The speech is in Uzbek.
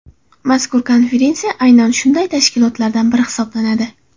Mazkur konferensiya aynan shunday tashkilotlardan biri hisoblanadi.